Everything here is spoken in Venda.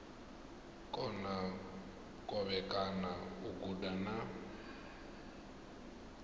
kona kovhekana u guda na